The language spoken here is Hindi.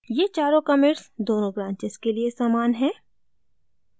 ये चारों commits दोनों branches के लिए समान हैं